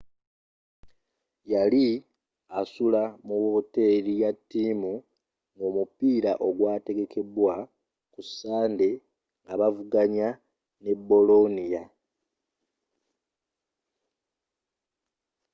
yali asula mu wooteri yattiimu ngomupiira ogwatekebwatekebwa ku ssande ngabavuganya ne bolonia